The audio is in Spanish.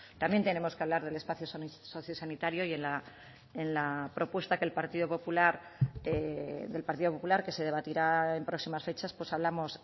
también tenemos que hablar del espacio socio sanitario y en la propuesta que el partido popular del partido popular que se debatirá en próximas fechas pues hablamos